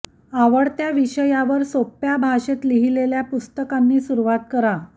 आवडत्या विषयावर सोप्प्या भाषेत लिहीलेल्या पुस्तकांनी सुरुवात करा